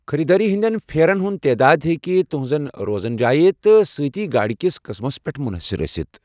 خریدٲری ہٕنٛدٮ۪ن پھیرن ہٕنٛز تعداد ہیٚكہِ تُہٕنٛزِ روزن جایہ تہٕ سۭتۍ گاڑ كِس قٕسمس پیٹھ منحصر ٲسِتھ ۔